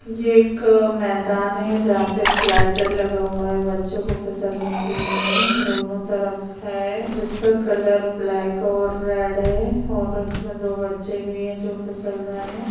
ये एक मैदान है जहां पे स्लाइडर लगा हुआ है बच्चों को फिसलने के लिए दोनों तरफ है जिसका कलर ब्लैक और रेड है और उसमें दो बच्चे भी है जो फिसल रहे है।